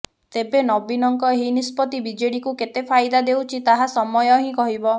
ତେବେ ନବୀନଙ୍କ ଏହି ନିଷ୍ପତ୍ତି ବିଜେଡିକୁ କେତେ ଫାଇଦା ଦେଉଛି ତାହା ସମୟ ହିଁ କହିବ